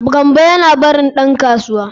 Gambo yana barin dan kasuwa.